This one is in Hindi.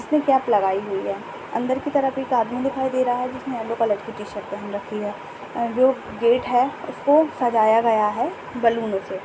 उसने केप लगाई हुई है अंदर की तरफ एक आदमी दिखाई दे रहा है जिसने येलो कलर की शर्ट पहन रखी है जो गेट है उसको सजाया गया है बलून से।